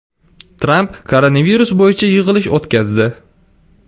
Tramp koronavirus bo‘yicha yig‘ilish o‘tkazdi.